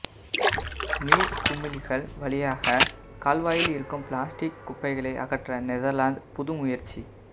நீர்க்குமிழிகள் வழியாகக் கால்வாய்களில் இருக்கும் பிளாஸ்டிக் குப்பைகளை அகற்ற நெதர்லந்து புது முயற்சி